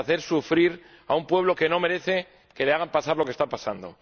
de hacer sufrir a un pueblo que no merece que le hagan pasar lo que está pasando.